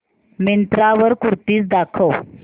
मिंत्रा वर कुर्तीझ दाखव